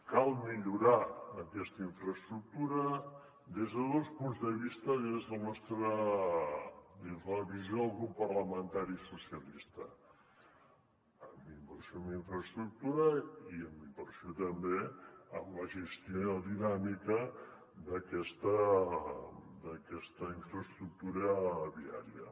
cal millorar aquesta infraestructura des de dos punts de vista des de la visió del grup parlamentari socialistes amb inversió en infraestructura i amb inversió també en la gestió dinàmica d’aquesta infraestructura viària